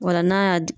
Ola n'a y'a